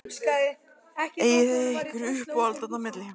Eigið þið ykkur uppáhald þarna á milli?